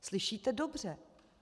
Slyšíte dobře.